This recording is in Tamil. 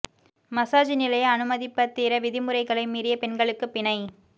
மசாஜ் நிலைய அனுமதிப்பத்திர விதிமுறைகளை மீறிய பெண்களுக்குப் பிணை